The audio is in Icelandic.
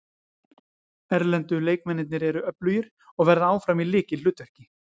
Erlendu leikmennirnir eru öflugir og verða áfram í lykilhlutverki.